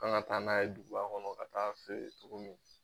Kan ŋa taa n'a ye duguba kɔnɔ ka taa'a feere cogo min